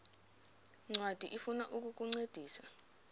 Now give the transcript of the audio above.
ncwadi ifuna ukukuncedisa